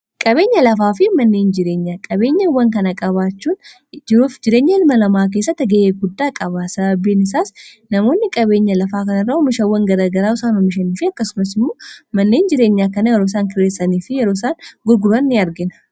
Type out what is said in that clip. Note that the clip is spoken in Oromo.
qabeenya lafaa fi manneen jireenya qabeenya wwan kana qabaachuunf jireenya ilma lamaa keessatta ga'eeguddaa qabaa sababbiin isaas namoonni qabeenya lafaa kanairra humisha iwwan garaagaraa isaan humishaniifi akkasumasimuu manneen jireenya kana yeroo isaan kireessanii fi yeroo isaan gurguraa ni argina